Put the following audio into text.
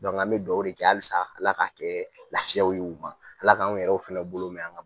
an be duwawu de kɛ halisa Ala k'a kɛɛ lafiya ye u ma, Ala k'anw yɛrɛw fɛnɛ bolo mɛ an ŋa